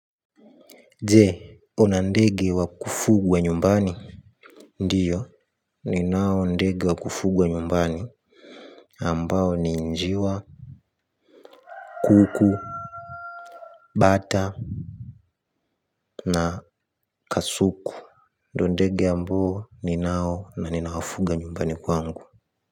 Je, una ndege wa kufugwa nyumbani? Ndio, ninao ndege wa kufugwa nyumbani ambao ni njiwa Kuku Bata Na kasuku. Ndio ndege ambao ninao na ninawafuga nyumbani kwangu.